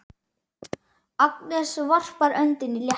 Agnes varpar öndinni léttar.